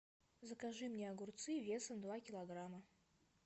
закажи мне огурцы весом два килограмма